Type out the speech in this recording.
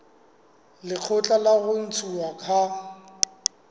lekgotla la ho ntshuwa ha